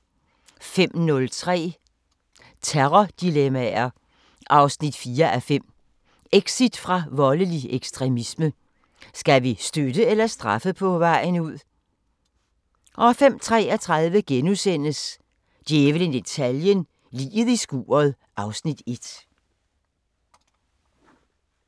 05:03: Terrordilemmaer 4:5 – Exit fra voldelig ekstremisme: Skal vi støtte eller straffe på vejen ud? 05:33: Djævlen i detaljen – Liget i skuret (Afs. 1)*